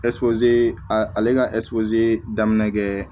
ale ka daminɛ kɛ